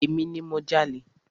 Emi ni mo jalè.